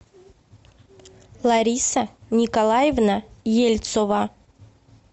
лариса николаевна ельцова